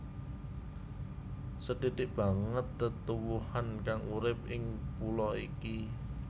Sethithik banget tetuwuhan kang urip ing pulo iki